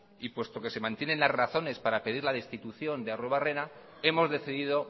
y puesto que se mantienen las razones para pedir la destitución de arruebarrena hemos decidido